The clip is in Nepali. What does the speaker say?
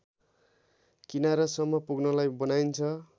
किनारासम्म पुग्नलाई बनाइन्छ